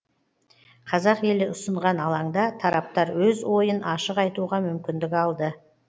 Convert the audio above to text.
қазақ елі ұсынған алаңда тараптар өз ойын ашық айтуға мүмкіндік алды